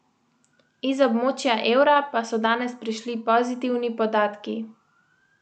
Iz območja evra pa so danes prišli pozitivni podatki.